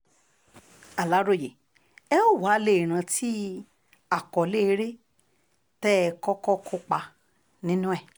aláròye ẹ ó wàá lè rántí àkọlé eré tẹ́ ẹ kọ́kọ́ kópa nínú ẹ̀